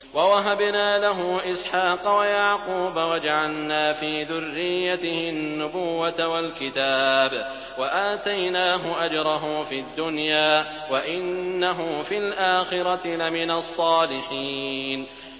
وَوَهَبْنَا لَهُ إِسْحَاقَ وَيَعْقُوبَ وَجَعَلْنَا فِي ذُرِّيَّتِهِ النُّبُوَّةَ وَالْكِتَابَ وَآتَيْنَاهُ أَجْرَهُ فِي الدُّنْيَا ۖ وَإِنَّهُ فِي الْآخِرَةِ لَمِنَ الصَّالِحِينَ